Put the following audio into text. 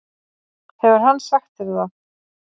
Hefur hann sagt þér það?